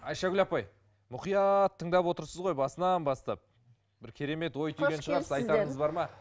айшагүл апай мұқият тыңдап отырсыз ғой басынан бастап бір керемет ой түйген шығарыз айтарыңыз бар ма